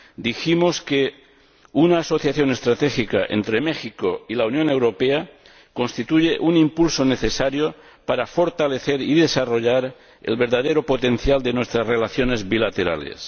dijimos que una asociación estratégica entre México y la Unión Europea constituye un impulso necesario para fortalecer y desarrollar el verdadero potencial de nuestras relaciones bilaterales.